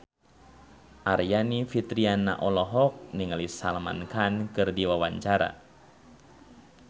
Aryani Fitriana olohok ningali Salman Khan keur diwawancara